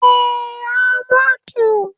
Eh, ya mutu